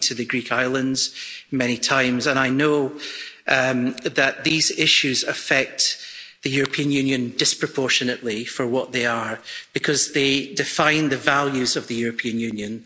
I've been to the Greek islands many times, and I know that these issues affect the European Union disproportionately for what they are, because they define the values of the European Union.